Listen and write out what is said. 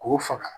K'o faga